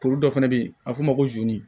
Tulu dɔ fana bɛ yen a bɛ f'o ma ko